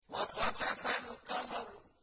وَخَسَفَ الْقَمَرُ